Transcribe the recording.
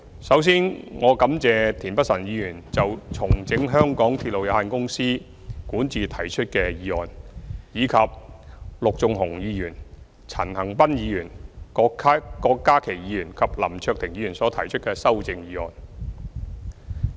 首先，我感謝田北辰議員就"重整港鐵公司管治"提出的議案，以及陸頌雄議員、陳恒鑌議員、郭家麒議員及林卓廷議員所提出的修正議案。